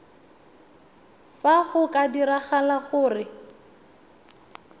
fa go ka diragala gore